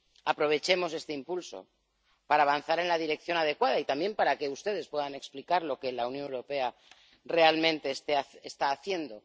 Aprovechemos este impulso para avanzar en la dirección adecuada y también para que ustedes puedan explicar lo que la Unión Europea está realmente haciendo.